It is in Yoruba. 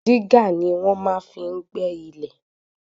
Dígà ni wọ́n máa fi ń gbẹ́ ilẹ̀.